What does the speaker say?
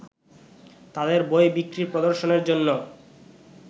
তাঁদের বই বিক্রি/প্রদর্শনের জন্য